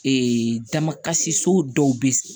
Ee dama kasi so dɔw be